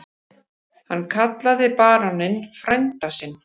Hann kallaði baróninn frænda sinn.